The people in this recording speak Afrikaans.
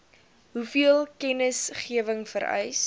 hoeveel kennisgewing vereis